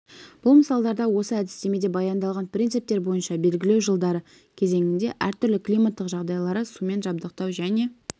бұл мысалдарда осы әдістемеде баяндалған принциптер бойынша белгілеу жылдары кезеңінде әртүрлі климаттық жағдайлары сумен жабдықтау және